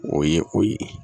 O ye o ye